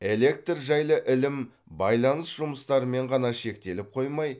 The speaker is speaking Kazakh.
электр жайлы ілім байланыс жұмыстарымен ғана шектеліп қоймай